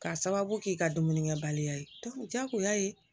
K'a sababu k'i ka dumunikɛbaliya ye jagoya ye